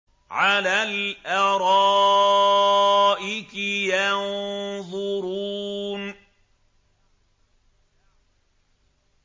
عَلَى الْأَرَائِكِ يَنظُرُونَ